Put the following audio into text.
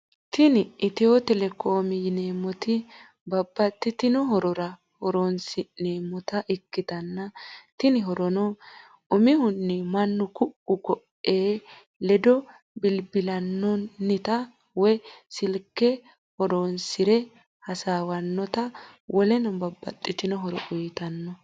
Tini ehio telecom yinemoti babatitino horrora horonisinemota ikitana tini horrono umihuni mannu ku’u kooei ledo bilobilinanita woyi silke hoeonisire hasawanota woleno babatitino horro uyitano.